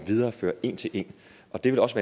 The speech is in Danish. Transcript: videreføre en til en og det vil også